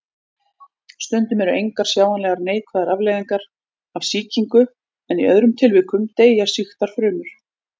Stundum eru engar sjáanlegar neikvæðar afleiðingar af sýkingu en í öðrum tilvikum deyja sýktar frumur.